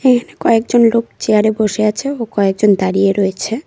এখানে কয়েকজন লোক চেয়ার -এ বসে আছে ও কয়েকজন দাঁড়িয়ে রয়েছে।